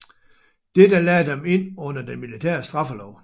Dette lagde dem ind under den militære straffelov